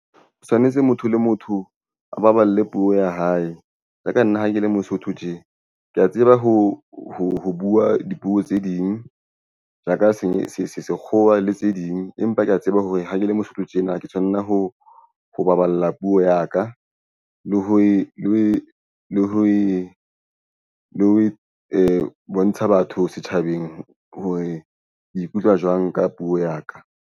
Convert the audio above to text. Ho tshwanetse motho le motho a baballe puo ya hae. Ja ka nna ha ke le mosotho tje ke ya tseba ho buwa dipuo tse ding ja ka senye sekgowa le tse ding empa ke ya tseba hore ha ke le Mosotho tjena. Ke tshwanna ho baballa puo ya ka. Le ha e le ho bontsha batho setjhabeng hore ikutlwa jwang ka puo ya ka.